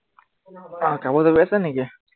আহ কাপোৰ জাপি আছা নেকি?